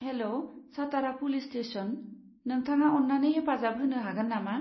हेल', Satara police station, नोंथाङा अन्नानै हेफाजाब होनो हागोन नामा?